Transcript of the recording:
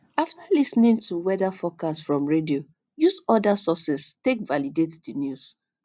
after lis ten ing to weather forcast from radio use oda sources take validate the news